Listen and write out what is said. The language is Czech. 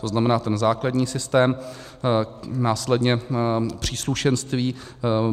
To znamená ten základní systém, následně příslušenství.